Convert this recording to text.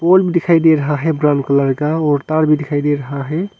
पोल दिखाई दे रहा है ब्राउन कलर का और तार भी दिखाई दे रहा है।